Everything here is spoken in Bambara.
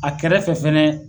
A kɛrɛ fɛ fɛnɛ.